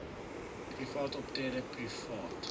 private optrede private